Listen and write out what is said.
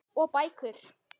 Og bækur.